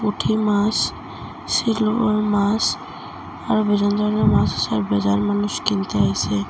পুঠি মাস শীলও মাস আরো বিভিন্ ধরনের মাস আসে আর ব্যাজার মানুষ কিনতে আসে।